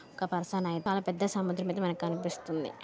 ఒక పర్సన్ చాలా పెద్ద సముద్రం అయితే మనకి కనిపిస్తుంది.